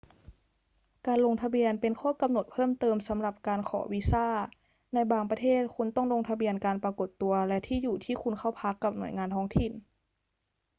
การลงทะเบียนเป็นข้อกำหนดเพิ่มเติมสำหรับการขอวีซ่า ในบางประเทศคุณต้องลงทะเบียนการปรากฏตัวและที่อยู่ที่คุณเข้าพักกับหน่วยงานท้องถิ่น